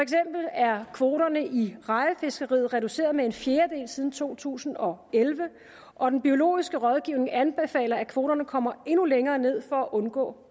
er kvoterne i rejefiskeriet reduceret med en fjerdedel siden to tusind og elleve og den biologiske rådgivning anbefaler at kvoterne kommer endnu længere ned for at undgå